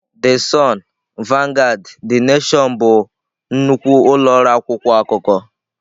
The Sun, Vanguard, The Nation bụ nnukwu ụlọ ọrụ akwụkwọ akụkọ.